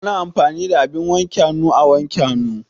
Ana amfani da abin wanke hannu a wanke hannu.